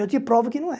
Eu te provo que não é.